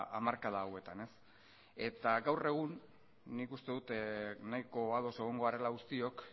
hamarkada hauetan gaur egun nik uste dut nahiko ados egongo garela guztiok